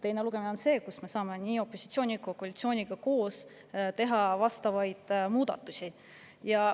Teine lugemine on see, kus me, nii opositsioon kui ka koalitsioon, saame üheskoos teha vastavaid muudatusi.